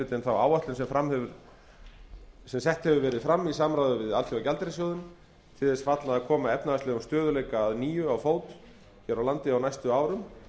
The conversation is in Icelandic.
hlutinn þá áætlun sem sett hefur verið fram í samráði við alþjóðagjaldeyrissjóðinn til þess fallna að koma efnahagslegum stöðugleika að nýju á fót hér á landi á næstu árum